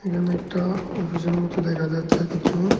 এখানে একটা অফিসের মত দেখা যাচ্ছে কিছু।